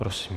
Prosím.